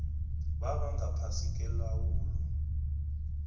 baba ngaphasi kwelawulo